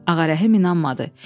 Ağarəhim inanmadı.